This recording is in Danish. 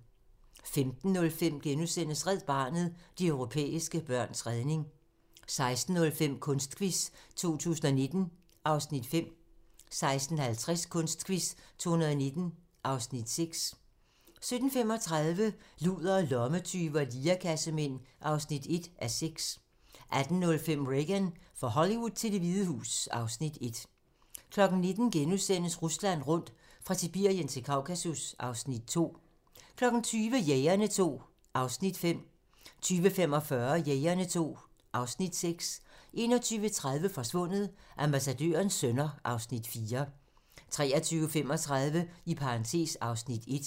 15:05: Red Barnet - de europæiske børns redning * 16:05: Kunstquiz 2019 (Afs. 5) 16:50: Kunstquiz 2019 (Afs. 6) 17:35: Ludere, lommetyve og lirekassemænd (1:6) 18:05: Reagan - fra Hollywood til Det Hvide Hus (Afs. 1) 19:00: Rusland rundt - fra Sibirien til Kaukasus (Afs. 2)* 20:00: Jægerne II (Afs. 5) 20:45: Jægerne II (Afs. 6) 21:30: Forsvundet: Ambassadørens sønner (Afs. 4) 23:35: (Afs. 1)